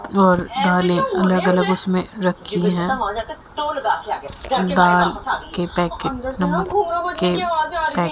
और दाले अलग अलग उसमें रखी हैं दाल के पैकेट नमकीन के पैकेट --